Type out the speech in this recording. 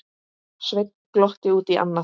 Sveinn glotti út í annað.